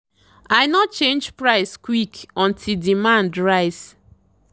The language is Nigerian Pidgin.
i no change price quick until demand rise.